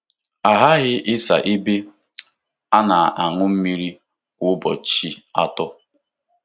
A ghaghị ịsa ebe a na-aṅụ mmiri kwa ụbọchị atọ.